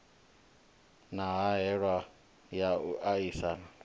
na hahelelo ya u aisana